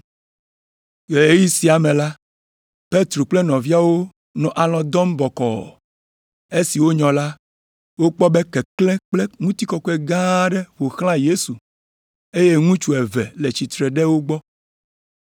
Le ɣeyiɣi sia me la, Petro kple nɔviawo nɔ alɔ̃ dɔm bɔkɔɔ. Esi wonyɔ la, wokpɔ be keklẽ kple ŋutikɔkɔe gã aɖe ƒo xlã Yesu, eye ŋutsu eve le tsitre ɖe egbɔ.